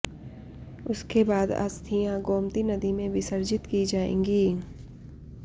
उसके बाद अस्थियां गोमती नदी में विसर्जित की जाएगी